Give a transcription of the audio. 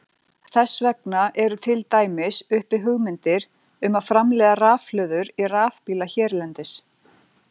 Þess vegna eru til dæmis uppi hugmyndir um að framleiða rafhlöður í rafbíla hérlendis.